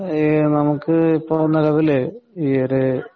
നമുക്ക് ഇപ്പൊ നെലവില് ഈയൊരു